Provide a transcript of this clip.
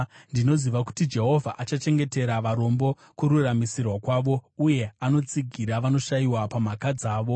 Ndinoziva kuti Jehovha akachengetera varombo kururamisirwa kwavo, uye anotsigira vanoshayiwa pamhaka dzavo.